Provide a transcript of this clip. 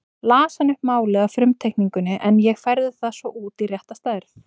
Las hann upp málið af frumteikningunni en ég færði það svo út í rétta stærð.